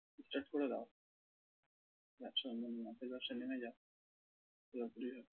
start করে দাও। মাছের ব্যবসায় নেমে যাও পুরোপুরি